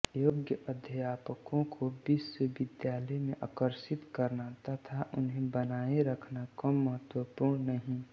योग्य अध्यापकों को विश्वविद्यालय में आकर्षित करना तथा उन्हें बनाए रखना कम महत्वपूर्ण नहीं